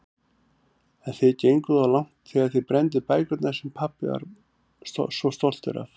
En þið genguð of langt þegar þið brennduð bækurnar sem pabbi var svo stoltur af.